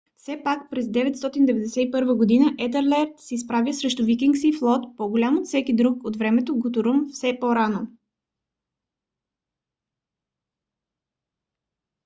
все пак през 991 г. етелред се изправя срещу викингски флот по-голям от всеки друг от времето на гутрум век по-рано